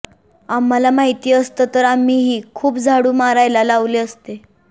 आम्हाला माहिती असतं तर आम्हीही खूप झाडू मारायला लावले असते